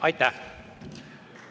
Aitäh!